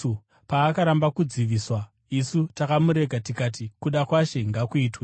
Paakaramba kudziviswa, isu takamurega tikati, “Kuda kwaShe ngakuitwe.”